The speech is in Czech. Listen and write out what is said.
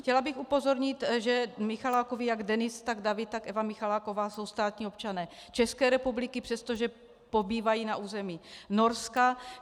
Chtěla bych upozornit, že Michalákovi, jak Denis, tak David, tak Eva Michaláková jsou státní občané České republiky, přestože pobývají na území Norska.